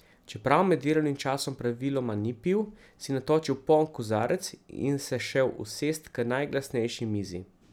Čeprav med delovnim časom praviloma ni pil, si je natočil poln kozarec in se šel usest k najglasnejši mizi.